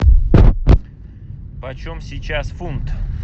почем сейчас фунт